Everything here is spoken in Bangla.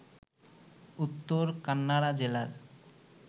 উত্তর কান্নাড়া জেলার